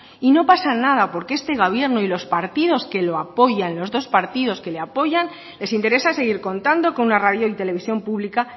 y no pasa nada porque este gobierno y a los partidos que lo apoyan los dos partidos que le apoyan les interesa seguir contando con una radio y televisión pública